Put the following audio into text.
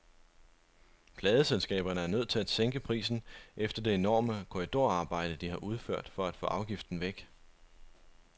Pladeselskaberne er nødt til at sænke prisen efter det enorme korridorarbejde, de har udført for at få afgiften væk.